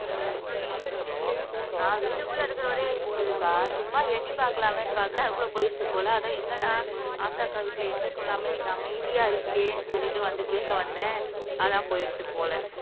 நான் வீட்டுக்குள்ள இருக்கிற வரையும் இருந்ததுக்கா சும்மா எட்டி பார்க்கலாமேன்னு பார்க்கிறேன் அதுக்குள்ள போயிருச்சு போல அதான் என்னடா ஆஷா அக்கா வீட்டுல இன்னைக்கும் இல்லாம இன்னைக்கு அமைதியா இருக்கேன்னு சொல்லிட்டு வந்து கேட்க வந்தேன் அதான் போயிருச்சு போல